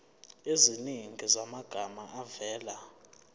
eziningi zamagama avela